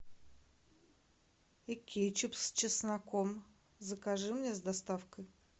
и кетчуп с чесноком закажи мне с доставкой